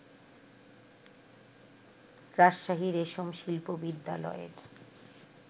রাজশাহী রেশম শিল্প বিদ্যালয়ের